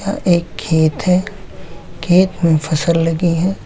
एक खेत है खेत में फसल लगी है।